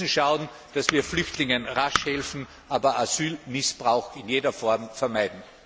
ist. Wir müssen schauen, dass wir Flüchtlingen rasch helfen, aber Asylmissbrauch in jeder Form vermeiden.